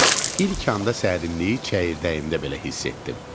ilk anda sərinliyi çəyirdəyimdə belə hiss etdim.